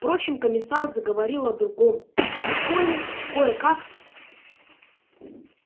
впрочем комиссар заговорил о другом и коле кое-как